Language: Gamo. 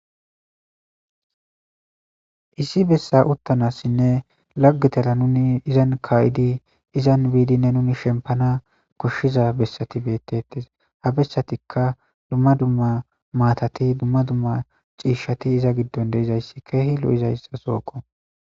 issi bessa uttanassinne laggitera nuni izan ka'idi izan biidinne nuni shempana koshshiza bessati beettettes, ha bessatikka dumma dumma maatati dumma dumma ciishshati iza giddon de'izayssi keehi lo7izayssa sooko